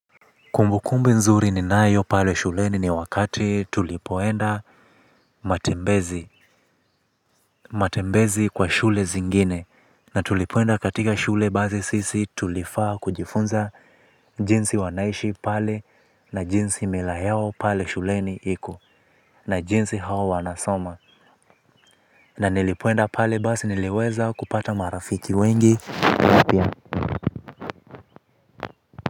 Kumbukumbu nzuri ninayo pale shuleni ni wakati tulipoenda matembezi. Matembezi kwa shule zingine na tulipoenda katika shule basi sisi tulifaa kujifunza jinsi wanaishi pale na jinsi mila yao pale shuleni iko na jinsi hao wanasoma. Na nilipoenda pale basi niliweza kupata marafiki wengi na pia.